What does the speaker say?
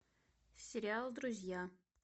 сериал друзья